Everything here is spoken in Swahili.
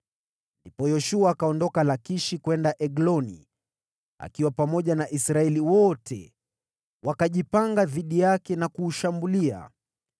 Ndipo Yoshua akaondoka Lakishi kwenda Egloni akiwa pamoja na Israeli yote; wakajipanga dhidi yake na kuushambulia.